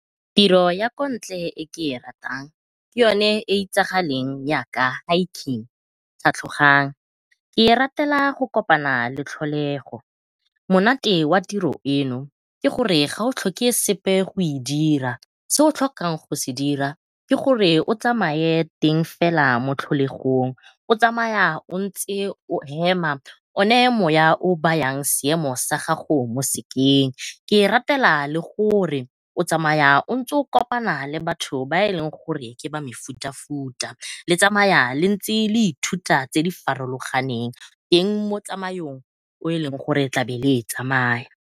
Tiro ya ko ntle e ke e ratang ke yone e e itsagaleng yaka hiking ke e ratela go kopana le tlholego. Monate wa tiro eno ke gore ga o tlhoke sepe go e dira, se o tlhokang go se dira ke gore o tsamaye fela mo tlholegong o tsamaya o ntse o hema o ne moya o o bayang seemo sa gago mo sekeng. Ke e ratela le gore o tsamaya o ntse o kopana le batho ba e leng gore ke ba mefuta-futa, le tsamaya le ntse le ithuta tse di farologaneng teng mo e e leng gore le tlabe le e tsamaya.